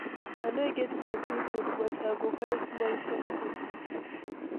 I no get plenty food, but I go find small something.